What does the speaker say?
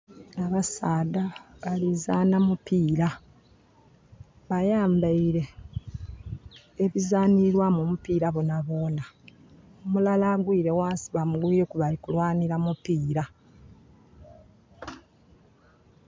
Abasaadha balizanha mupira bayambaire ebizanhilwamu omupira bonabona, omulala agwire ghansi bamugwireku bali kulwanhira mupira.